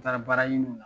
N taara baara ɲini na